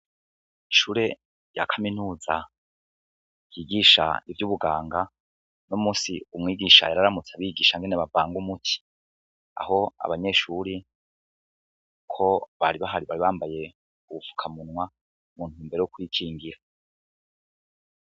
Ishure rya kaminuza ryigisha ivyu buganga uno munsi mwigisha yari yaramutse abigisha ingene bavanga umuti aho abanyeshuri ko bari bahari bari bambaye ubupfuka munwa mu ntumbero yo kwikingira.